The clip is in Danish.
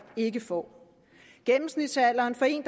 ikke får gennemsnitsalderen for en